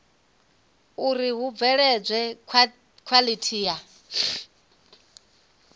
uri hu bveledzwe khwalithi ya